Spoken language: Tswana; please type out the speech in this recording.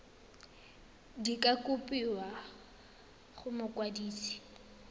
di ka kopiwa go mokwadise